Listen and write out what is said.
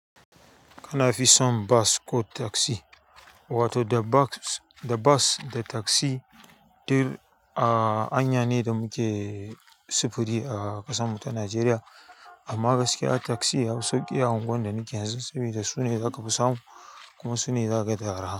Kana fi son bas ko taksi? Wato da boks, da bus da taksi dur a anya ne da muke sufuri a ƙasanmu ta Najeriya. Amma gaskiya taksi ya fi sauƙi a unguwannin da nake yanzu sabida su ne za ka fi samu kuma su ne za ka ga da araha.